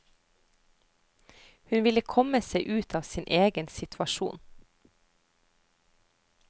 Hun ville komme seg ut av sin egen situasjon.